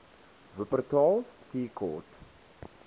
wupperthal tea court